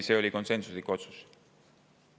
See oli konsensuslik otsus.